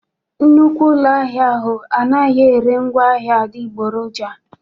Nnukwu ụlọ ahịa ahụ anaghị ere ngwaahịa adịgboroja.